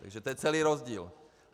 Takže to je celý rozdíl.